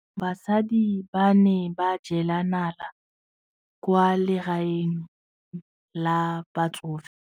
Basadi ba ne ba jela nala kwaa legaeng la batsofe.